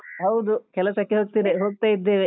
ಹೌದು, ಕೆಲಸಕ್ಕೆ ಹೋಗ್ತೀನಿ ಹೋಗ್ತಾ ಇದ್ದೇವೆ ಈಗ.